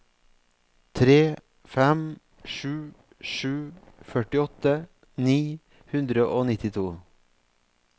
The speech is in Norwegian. tre fem sju sju førtiåtte ni hundre og nittito